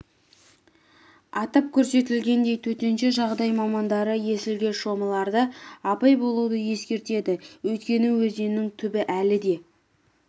атап көрсетілгендей төтенше жағдай мамандары есілге шомыларда абай болуды ескертеді өйткені өзеннің түбі әлі де